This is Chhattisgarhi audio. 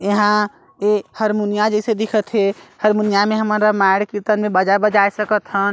यहाँ ये हरमुनिया जइसे दिखत हे हरमुनिया में हमन रामायण कीर्तन मे बाजा बजाए सकत हन--